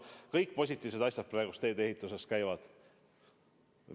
Ja kõik muud positiivsed asjad, mis praegu teedeehituses käivad.